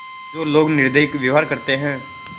जो लोग निर्दयी व्यवहार करते हैं